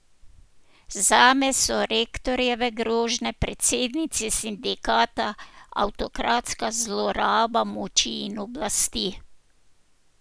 Zame so rektorjeve grožnje predsednici sindikata avtokratska zloraba moči in oblasti.